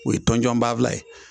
O ye tɔnjɔnbaafula ye